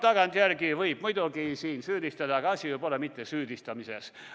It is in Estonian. Tagantjärele võib siin muidugi süüdistada, aga asi pole mitte süüdistamises.